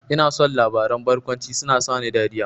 Ina son labaran barkwanci, suna sani dariya